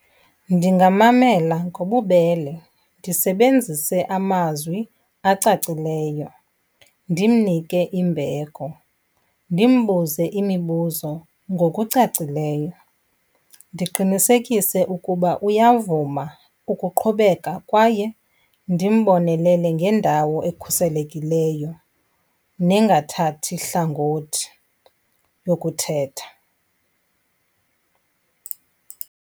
Ndingamamela ngobubele, ndisebenzise amazwi acacileyo, ndimnike imbeko. Ndimbuze imibuzo ngokucacileyo, ndiqinisekise ukuba uyavuma ukuqhubeka kwaye ndimbonelele ngendawo ekhuselekileyo nengathathi hlangothi yokuthetha.